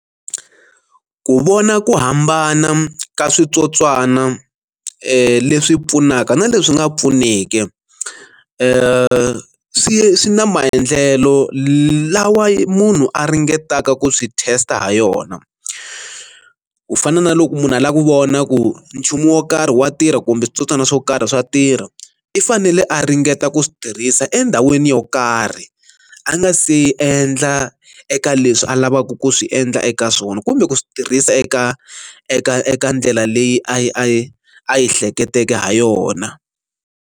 Ku vona ku hambana ka switsotswana leswi pfunaka na leswi nga pfuniki swi swi na maendlelo lawa munhu a ringetaka ku swi test ha yona, ku fana na loko munhu a lava ku vona ku nchumu wo karhi wa tirha kumbe switsotswana swo karhi swa tirha i fanele a ringeta ku swi tirhisa endhawini yo karhi a nga se yi endla eka leswi a lavaka ku swi endla eka swona kumbe ku swi tirhisa eka eka eka ndlela leyi a yi a yi a yi hleketeke ha yona.